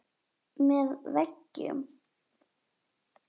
Með veggjum